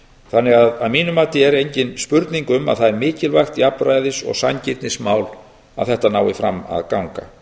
tilviki lífeyrissjóðanna að mínu mati er því engin spurning um að það er mikilvægt jafnræðis og sanngirnismál að þetta nái fram að ganga